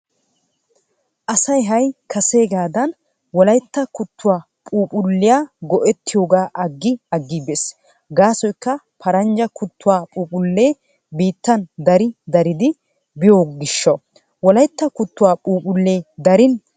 Asay ha'i kaseegaadan wolaytta kuttuwaa phuuphphulliyaa go'ettiyoogaa agi agi bees. Gaasoykka paranjja kuttuwaa phuuphphlee biittan dari daridi biyoogishaw wolaytta kuttuwaa phuuphphulliyaa darin go'ettenna.